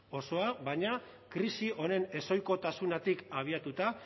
osoa baina krisi honen ez ohizkotasunetik abiatuta